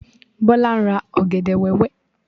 Bọ́lá ń ra ọ̀gẹ̀dẹ̀ wẹ́wẹ́.